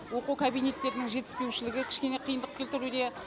оқу кабинеттерінің жетіспеушілігі кішкене қиындық кетіруде